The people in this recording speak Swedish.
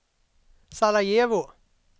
Sarajevo